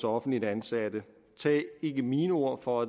offentlige ansatte tag ikke mine ord for